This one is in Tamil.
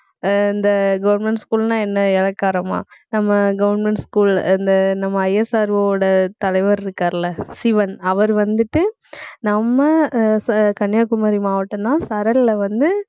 அஹ் இந்த government school னா என்ன இளக்காரமா நம்ம government school இந்த நம்ம ISRO வோட தலைவர் இருக்காருல்ல சிவன். அவர் வந்துட்டு நம்ம அஹ் ச~ கன்னியாகுமரி மாவட்டம்தான் சரல்ல வந்து